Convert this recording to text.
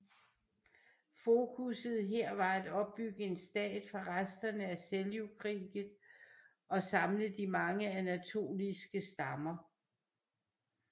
Fokusset her var at opbygge en stat fra resterne af Seljukriget og samle de mange Anatoliske stammer